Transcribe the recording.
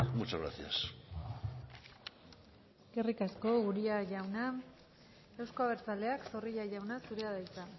muchas gracias eskerrik asko uria jauna euzko abertzaleak zorrilla jauna zurea da hitza